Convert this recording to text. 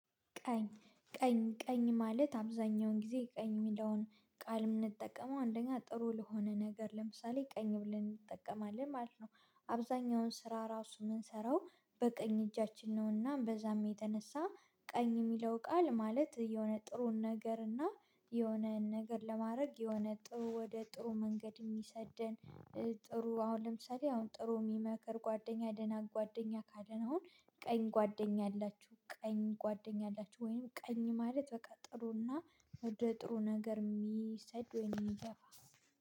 ቀኝ ቀኝ ቀኝ ማለት አብዛኛውን ጊዜ ቀኝ የሚለውን ቃል የምንጠቀመው አንደኛ ጥሩ ለሆነ ነገር ለምሳሌ ቀኝ ብለን እንጠቀማለን ማለት ነው። አብዛኛውን ስራ ራሱ የምንሰራው በቀኝ እጃችን ነውና በዛም የተነሳ ቀኝ የሚለው ቃል ማለት የሆነ ጥሩን ነገር እና የሆነ ነገር ለማድረግ የሆነ ጥሩ ወደ ጥሩ መንገድ የሚሰደን። ጥሩ አሁን ለምሳሌ አሁን ጥሩ የሚመክር ጓደኛ ደናን ጓደኛ ካለን አሁን ቀኝ ጓደኛ አላችሁ ቀኝ ጓደኛ አላችሁ? ወይም ቀኝ ማለት በቃ ጥሩና ወደ ጥሩ ነገር የሚሰድ ወይም የሚገፋ።